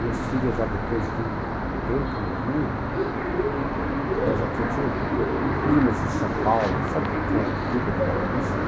Minhas filhas já depois de um tempo no Rio, elas aqui tinham primas em São Paulo, sabe que é que vida paulista?